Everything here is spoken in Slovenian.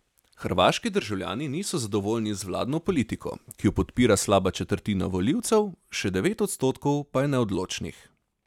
Hrvaški državljani niso zadovoljni z vladno politiko, ki jo podpira slaba četrtina volivcev, še devet odstotkov pa je neodločnih.